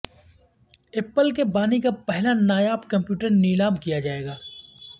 apple کے بانی کا پہلا نایاب کمپیوٹر نیلام کیا جائے گا